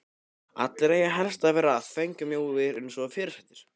Allir eiga helst að vera þvengmjóir eins og fyrirsætur.